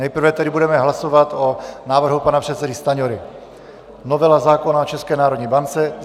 Nejprve tedy budeme hlasovat o návrhu pana předsedy Stanjury, novela zákona o České národní bance.